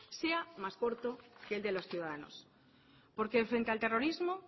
sea más corto que el de los ciudadanos porque frente al terrorismo